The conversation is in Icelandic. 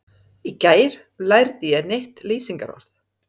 Í gær lærði ég nýtt lýsingarorð.